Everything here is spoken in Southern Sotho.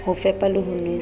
ho fepa le ho nwesa